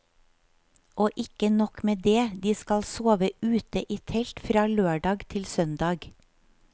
Og ikke nok med det, de skal sove ute i telt, fra lørdag til søndag.